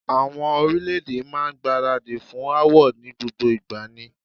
Àwọn orílè-èdè máa ń gbáradì fún aáwọ̀ ni gbogbo ìgbà ni.